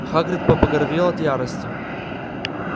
хагрид побагровел от ярости